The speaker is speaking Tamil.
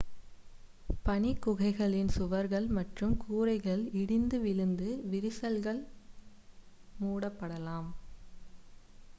பனிக் குகைகளின் சுவர்கள் மற்றும் கூரைகள் இடிந்துவிழுந்து விரிசல்கள் மூடப்படலாம்